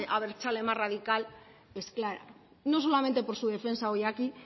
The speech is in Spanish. abertzale más radical es clara no solamente por su defensa hoy aquí